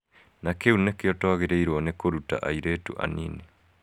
Na kĩu nĩkĩo twagĩrĩirũo nĩ kũruta airĩtu anini.